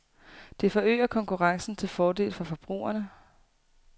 Det forøger konkurrencen til fordel for forbrugerne.